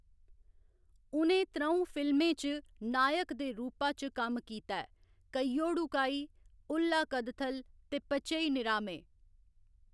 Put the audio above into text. उ'नें त्र'ऊं फिल्में च नायक दे रूपा च कम्म कीता ऐ कैयोडु काई, उल्ला कदथल ते पचई निरामे।